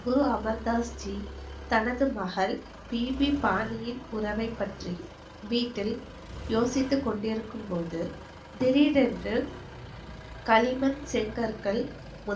குரு அமர்தாஸ்ஜி தனது மகள் பிபிபாணியின் குரவை பற்றி வீட்டில் யோசிச்சி கொண்டிருக்கும்போது திடிரென்று களிமண் செங்கற்கள்